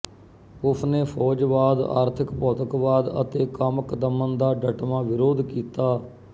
ਉਸਨੇ ਫੌਜ਼ਵਾਦ ਆਰਥਿਕ ਭੌਤਿਕਵਾਦ ਅਤੇ ਕਾਮਿਕ ਦਮਨ ਦਾ ਡੱਟਵਾਂ ਵਿਰੋਧ ਕੀਤਾ